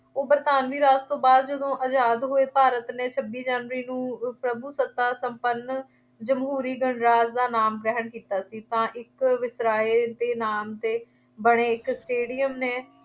ਉਹ ਬਰਤਾਨਵੀ ਰਾਜ ਤੋਂ ਬਾਅਦ ਜਦੋਂ ਆਜ਼ਾਦ ਹੋਏ ਭਾਰਤ ਨੇ ਛੱਬੀ ਜਨਵਰੀ ਨੂੰ ਪ੍ਰਭੂਸੱਤਾ ਸੰਪੰਨ, ਜਮਹੂਰੀ ਗਣਰਾਜ ਦਾ ਨਾਮ ਗ੍ਰਹਿਣ ਕੀਤਾ ਸੀ, ਤਾਂ ਇੱਕ ਵਾਇਸਰਾਏ ਦੇ ਨਾਮ ’ਤੇ ਬਣੇ ਇੱਕ ਸਟੇਡੀਅਮ ਨੇ